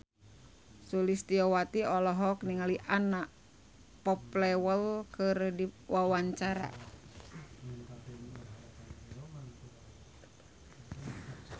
Sulistyowati olohok ningali Anna Popplewell keur diwawancara